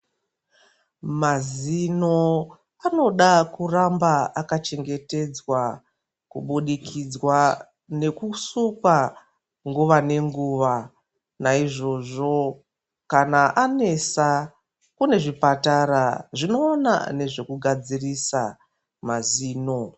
Mazino anoda kuramba akachengetedzwa, kubudikidzwa nekusukwa nguwa nenguwa, naizvozvo kana anesa kune zvipatara zvinoona nezvekugadzirisa mazino.